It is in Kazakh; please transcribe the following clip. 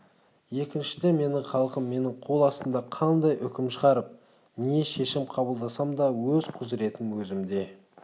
екіншіден менің халқым менің қол астымда қандай үкім шығарып не шешім қабылдасам да өз құзыретім өзімде